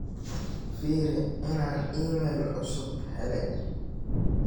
firi in aan iimayl cusub helay